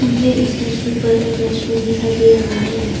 मुझे इस तस्वीर पर एक रेस्टोरेंट दिखाई दे रहा है।